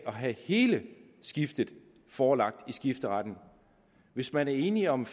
have hele skiftet forelagt skifteretten hvis man er enige om